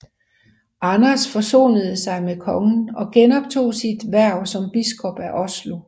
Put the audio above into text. Anders forsonede sig med kongen og genoptog sit hverv som biskop af Oslo